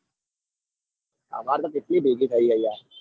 અમર તો કેટલી ભેગી થઇ યાર